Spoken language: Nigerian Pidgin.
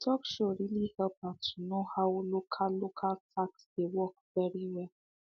the talk show really help her to know how local local tax dey work very well